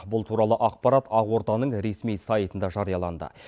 бұл туралы ақпарат ақорданың ресми сайтында жарияланды